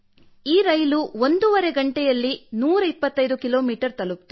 ಈ ರೈಲು ಒಂದೂವರೆ ಗಂಟೆಯಲ್ಲಿ 125 ಕಿಲೋಮೀಟರ್ ತಲುಪಿತು